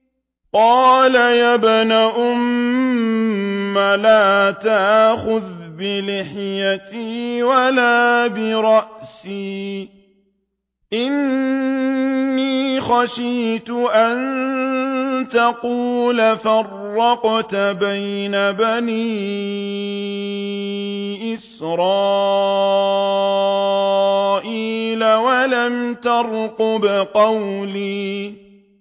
قَالَ يَا ابْنَ أُمَّ لَا تَأْخُذْ بِلِحْيَتِي وَلَا بِرَأْسِي ۖ إِنِّي خَشِيتُ أَن تَقُولَ فَرَّقْتَ بَيْنَ بَنِي إِسْرَائِيلَ وَلَمْ تَرْقُبْ قَوْلِي